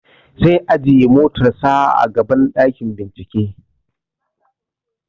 Zai ajiye motar sa a gaban ɗakin bincike